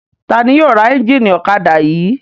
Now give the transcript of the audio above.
Ta ni yóò ra ẹ́ńjínì ọ̀kadà yìí?